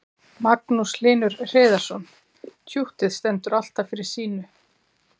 Magnús Hlynur Hreiðarsson: Tjúttið stendur alltaf fyrir sínu?